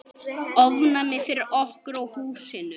Ofnæmi fyrir okkur og húsinu!